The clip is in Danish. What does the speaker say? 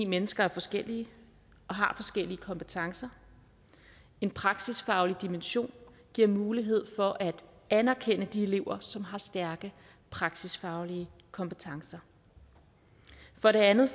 mennesker forskellige og har forskellige kompetencer en praksisfaglig dimension giver mulighed for at anerkende de elever som har stærke praksisfaglige kompetencer for det andet